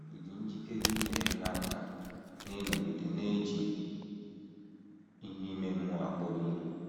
Ị̀ dị njikere inyere ha aka n’ịnọgide na - eji ihe ime mmụọ akpọrọ ihe?